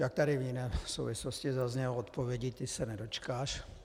Jak tady v jiné souvislosti zaznělo, odpovědi, té se nedočkáš.